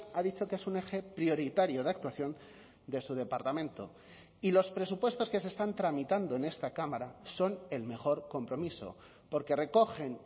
ha dicho que es un eje prioritario de actuación de su departamento y los presupuestos que se están tramitando en esta cámara son el mejor compromiso porque recogen